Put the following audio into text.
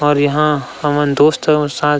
और यहाँ हमन दोस्त मन साथ --